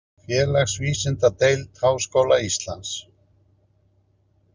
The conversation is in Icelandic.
Félagsvísindadeild Háskóla Íslands.